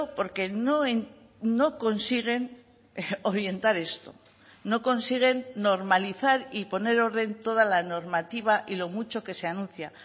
porque no consiguen orientar esto no consiguen normalizar y poner orden toda la normativa y lo mucho que se anuncia